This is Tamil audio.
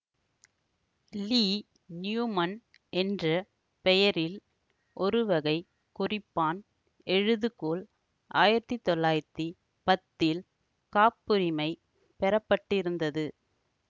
லீ நியூமன் என்ற பெயரில் ஓருவகை குறிப்பான் எழுதுகோல் ஆயிரத்தி தொள்ளாயிரத்தி பத்தில் காப்புரிமை பெற பட்டிருந்தது